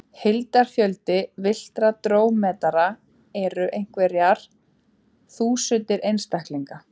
Heildarfjöldi villtra drómedara eru einhverjar þúsundir einstaklinga.